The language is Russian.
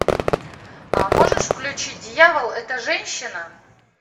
а можешь включить дьявол это женщина